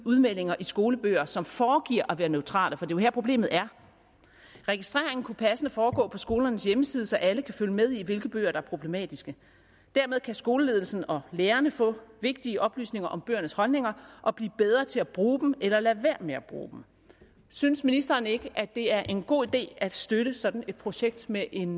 udmeldinger i skolebøger som foregiver at være neutrale for jo her problemet er registreringen kunne passende foregå på skolernes hjemmeside så alle kan følge med i hvilke bøger der er problematiske dermed kan skoleledelsen og lærerne få vigtige oplysninger om bøgernes holdninger og blive bedre til at bruge dem eller lade være med at bruge dem synes ministeren ikke at det er en god idé at støtte sådan et projekt med en